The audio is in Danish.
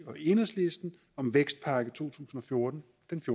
og enhedslisten om vækstpakke to tusind og fjorten